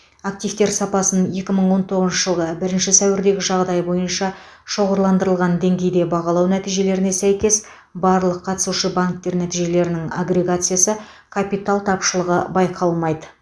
активтер сапасын екі мың он тоғызыншы жылғы бірінші сәуірдегі жағдай бойынша шоғырландырылған деңгейде бағалау нәтижелеріне сәйкес барлық қатысушы банктер нәтижелерінің агрегациясы капитал тапшылығы байқалмайды